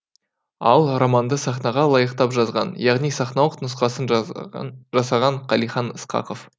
ал романды сахнаға лайықтап жазған яғни сахналық нұсқасын жасаған қалихан ысқақов